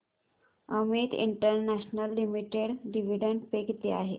Amit international limited dividend pay किती आहे